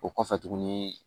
O kɔfɛ tuguni